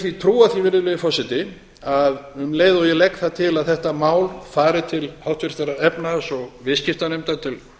því trúa því virðulegi forseti að um leið og ég legg það til að þetta mál fari til háttvirtrar efnahags og viðskiptanefndar til